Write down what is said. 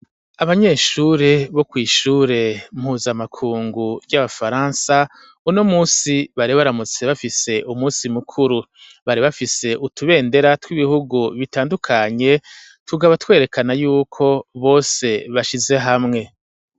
Abanyeshure bo kw'ishure mpuzamakungu ry'Abafaransa, uno munsi bari baramutse bafise umunsi mukuru, bari bafise utubendera tw'ibihugu bitandukanye tukaba twerekana yuko bose bashize hamwe.